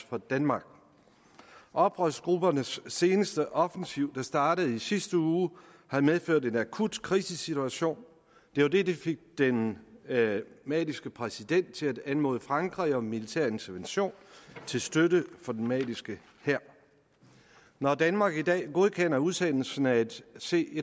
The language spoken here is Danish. for danmark oprørsgruppernes seneste offensiv der startede i sidste uge har medført en akut krisesituation det var det der fik den maliske præsident til at anmode frankrig om militær intervention til støtte for den maliske hær når danmark i dag godkender udsendelsen af et c